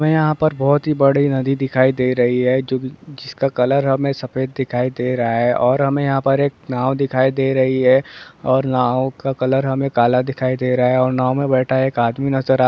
बहुत ही बड़ी नदी दिखाई दे रही है जो भी जिसका कलर हमें सफेद दिखाई दे रहा है और हमें यहाँ पर एक नाव दिखाई दे रही है और नाव का कलर हमें काला दिखाई दे रहा है और नाव मे बैठा एक आदमी नजर आ रहा है |